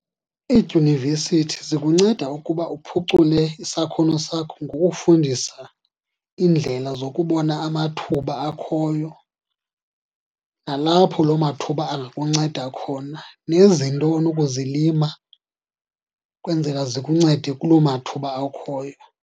Iidyunivesithi zikunceda ukuba uphucule isakhono sakho ngokufundisa iindlela zokubona amathuba akhoyo nalapho loo mathuba angakunceda khona, nezinto onokuzilima kwenzela zikuncede kuloo mathuba akhoyo.